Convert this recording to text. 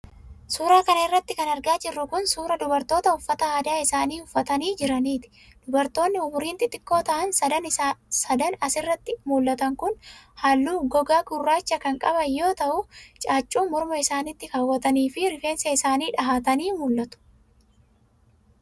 Suura kana irratti kan argaa jirru kun, suura dubartoota uffata aadaa isaanii uffatanii jiraniiti. Dubartoonni Umuriin xixiqqoo ta'an sadan as irratti mul'atan kun, haalluu gogaa gurraacha kan qaban yoo ta'u, caaccuu morma isaanitti kaawwatanii fi rifeensa iaanii dhahaatanii mul'atu.